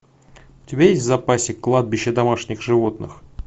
у тебя есть в запасе кладбище домашних животных